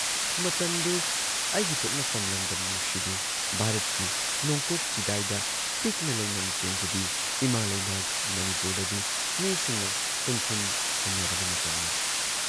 ꯃꯇꯝꯗꯨ ꯑꯩꯒꯤ ꯄꯣꯛꯅꯐꯝ ꯂꯝꯗꯝ ꯅꯨꯡꯁꯤꯕꯤ, ꯚꯥꯔꯠꯀꯤ ꯅꯣꯡꯄꯣꯛ ꯆꯤꯗꯥꯏꯗ ꯄꯤꯛꯅ ꯂꯩꯅꯝ ꯆꯦꯟꯖꯕꯤ ꯏꯃꯥ ꯂꯩꯕꯥꯛ ꯃꯅꯤꯄꯨꯔꯗꯗꯤ ꯃꯤꯁꯤꯡꯅ ꯇꯨꯝꯈꯨꯟ ꯍꯨꯟꯅꯔꯕ ꯃꯇꯝꯅꯤ ꯫